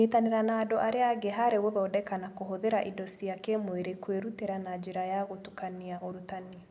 Kũnyitanĩra na andũ arĩa angĩ harĩ gũthondeka na kũhũthĩra indo cia kĩĩmwĩrĩ, kwĩrutĩra na njĩra ya gũtukania ũrutani